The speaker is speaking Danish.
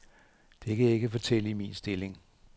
Det kan jeg ikke fortælle i min stilling.